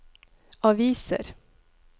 aviser